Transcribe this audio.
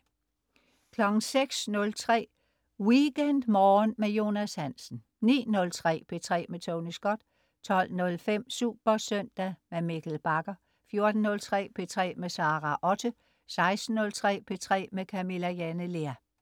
06.03 WeekendMorgen med Jonas Hansen 09.03 P3 med Tony Scott 12.05 SuperSøndag. Mikkel Bagger 14.03 P3 med Sara Otte 16.03 P3 med Camilla Jane Lea